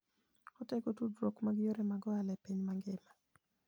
Otego tudruok mar yore mag ohala e piny mangima.